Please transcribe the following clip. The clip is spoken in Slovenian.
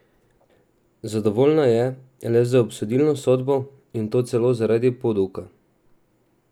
Zadovoljna je le z obsodilno sodbo, in to celo zaradi poduka!